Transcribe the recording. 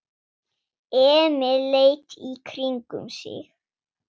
Emil leit í kringum sig.